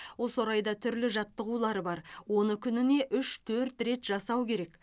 осы орайда түрлі жаттығулар бар оны күніне үш төрт рет жасау керек